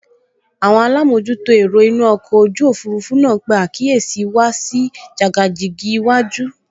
Àwọn alámojútó ẹ̀rọ inú ọkọ̀ ojú òfurufú náà pe àkíyèsí wa sí jàgàjìgì iwájú